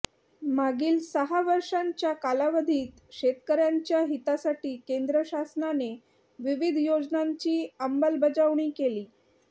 मागील सहा वर्षांच्या कालावधीत शेतकऱ्यांच्या हितासाठी केंद्र शासनाने विविध याेजनांची अंमलबजावणी केली